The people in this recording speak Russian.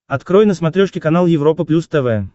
открой на смотрешке канал европа плюс тв